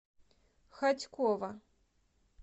хотьково